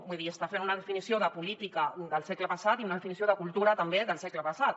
vull dir està fent una definició de política del segle passat i una definició de cultura també del segle passat